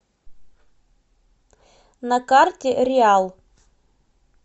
на карте реал